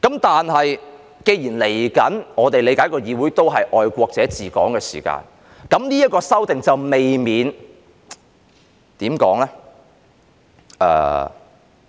但是，既然我們理解未來的議會是愛國者治港時，那麼這項修訂便未免......